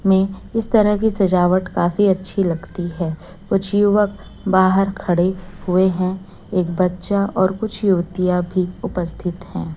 में इस तरह की सजावट काफी अच्छी लगती है कुछ युवक बाहर खड़े हुए है एक बच्चा और कुछ युवतियां भी होती है अभी उपस्थित है।